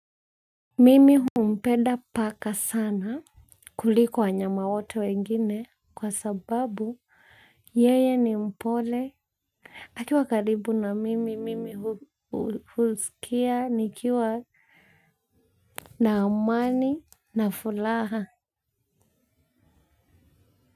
Mimi humpenda paka sana kuliko wanyama wote wengine kwa sababu yeye ni mpole. Akiwa karibu na mimi mimi huskia nikiwa na amani na fulaha.